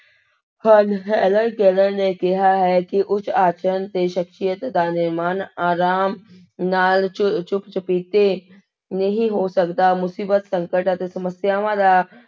ਹਨ, Helen Keller ਨੇ ਕਿਹਾ ਹੈ ਕਿ ਉੱਚ ਆਚਰਣ ਤੇ ਸਖ਼ਸੀਅਤ ਦਾ ਨਿਰਮਾਣ ਆਰਾਮ ਨਾਲ ਚੁੱ ਚੁੱਪ ਚੁਪੀਤੇ ਨਹੀਂ ਹੋ ਸਕਦਾ, ਮੁਸੀਬਤ ਸੰਕਟ ਅਤੇ ਸਮੱਸਿਆਵਾਂ ਦਾ